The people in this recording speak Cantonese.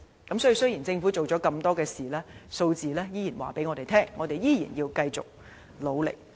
所以，雖然政府做了那麼多工作，有關數字依然顯示，我們仍要繼續努力。